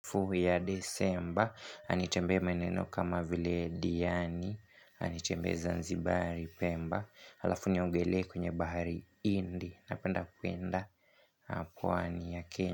Fuhu ya Desemba, na nitembee maeneo kama vile Diani, na niembee Zanzibari Pemba, alafu niogelee kwenye bahari hindi, napenda kuenda pwani ya Kenya.